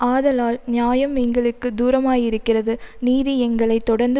ஆதலால் நியாயம் எங்களுக்கு தூரமாயிருக்கிறது நீதி எங்களை தொடர்ந்து